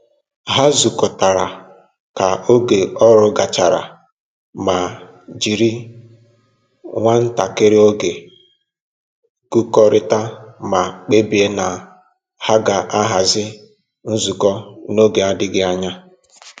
Ha zụkọtara ka oge ọrụ gachara ma jiri nwantakịrị oge gụkọrịta ma kpebie na ha ga-ahazi nzukọ n'oge adịghị anya